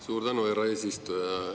Suur tänu, härra eesistuja!